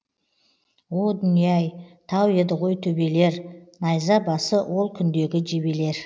о дүние ай тау еді ғой төбелер найза басы ол күндегі жебелер